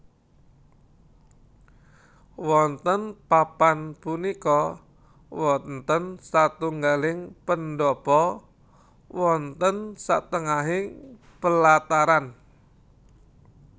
Wonten papan punika wonten satunggaling pendhapa wonten satengahing pelataran